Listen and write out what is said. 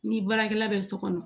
Ni baarakɛla bɛ so kɔnɔ